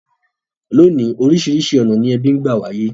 Lónìí, orísìrísi ọ̀nà ni ebí n gba wáyé